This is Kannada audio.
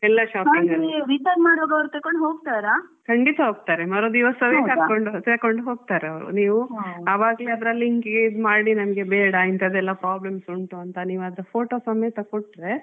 ನಾವ್ return ಮಾಡುವಾಗ ತಕೊಂಡ್ ಹೋಗ್ತಾರಾ?